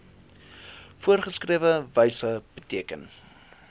voorgeskrewe wyse beteken